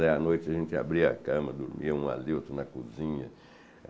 Aí à noite a gente abria a cama, dormia um ali, outro na cozinha.